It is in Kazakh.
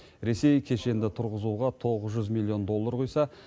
ресей кешенді тұрғызуға тоғыз жүз миллион доллар құйса